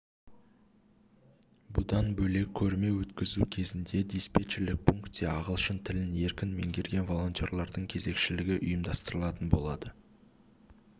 бұдан бөлек көрме өткізу кезінде диспетчерлік пункте ағылшын тілін еркін меңгерген волонтерлардың кезекшілігі ұйымдастырылатын болады